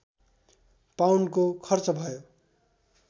पाउन्डको खर्च भयो